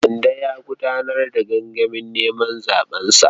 Mande ya gudanar da gangamin neman zaɓensa.